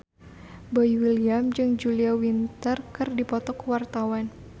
Boy William jeung Julia Winter keur dipoto ku wartawan